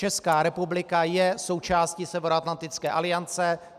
Česká republika je součástí Severoatlantické aliance.